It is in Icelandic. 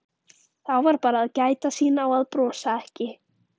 Þá var bara að gæta sín á að brosa ekki.